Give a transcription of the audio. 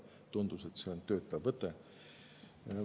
Tundus, et see on töötav võte.